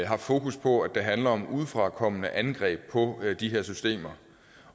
haft fokus på at det handler om udefrakommende angreb på de her systemer